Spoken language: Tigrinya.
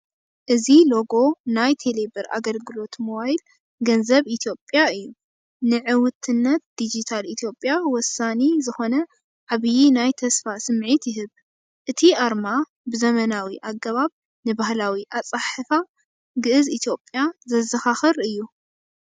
እዚ ሎጎ ናይ ቴሌቢር ኣገልግሎት ሞባይል ገንዘብ ኢትዮጵያ እዩ! ንዕውትነት ዲጂታል ኢትዮጵያ ወሳኒ ዝኾነ ዓብይ ናይ ተስፋ ስምዒት ይህብ! እቲ ኣርማ ብዘመናዊ ኣገባብ ንባህላዊ ኣጸሓሕፋ ግእዝ ኢትዮጵያ ዘዘኻኽር እዩ።